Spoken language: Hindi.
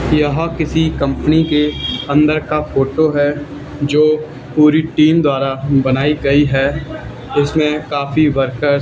यह किसी कंपनी के अंदर का फोटो है जो पूरी टीम द्वारा बनाई गई है उसमें काफी वर्कर्स --